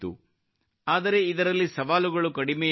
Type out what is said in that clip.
ಆದರೆ ಇದರಲ್ಲಿ ಸವಾಲುಗಳು ಕಡಿಮೆಯೇನೂ ಇರಲಿಲ್ಲ